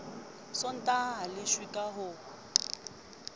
sontaha a leshwe ka ho